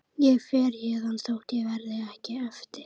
Ég fer héðan þótt ég verði hér eftir.